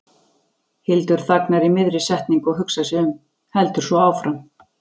Hildur þagnar í miðri setningu og hugsar sig um, heldur svo áfram